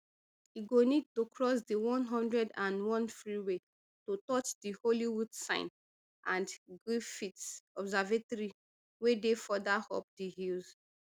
e go need to cross di one hundred and one freeway to touch di hollywood sign and griffith observatory wey dey further up di hills